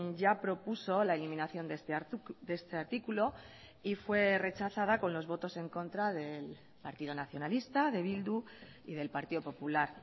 ya propuso la eliminación de este artículo y fue rechazada con los votos en contra del partido nacionalista de bildu y del partido popular